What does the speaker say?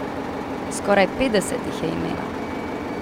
Skoraj petdeset jih je imela.